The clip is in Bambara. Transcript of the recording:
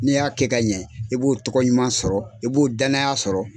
N'i y'a kɛ ka ɲɛ i b'o tɔgɔ ɲuman sɔrɔ i b'o danya sɔrɔ.